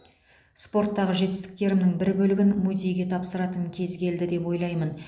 спорттағы жетістіктерімнің бір бөлігін музейге тапсыратын кез келді деп ойлаймын